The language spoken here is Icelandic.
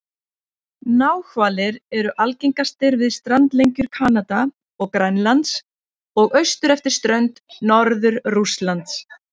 Náhvalir eru algengastir við strandlengjur Kanada og Grænlands og austur eftir strönd Norður-Rússlands.